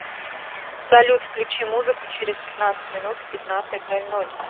салют включи музыку через пятнадцать минут в пятнадцать ноль ноль